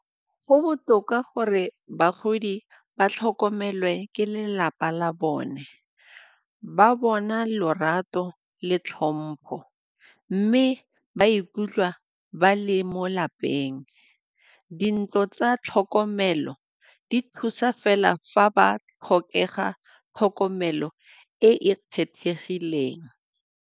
Go botoka gore bagodi ba tlhokomelwe ke lelapa la bone, ba bona lorato le tlhompho mme ba ikutlwa ba le mo lapeng. Dintlo tsa tlhokomelo di thusa fela fa ba tlhokega tlhokomelo e e kgethegileng.